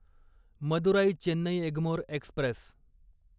Madurai Chennai Egmore Express